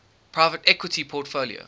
private equity portfolio